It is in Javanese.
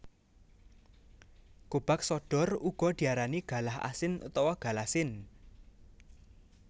Gobag sodor uga diarani galah asin utawa galasin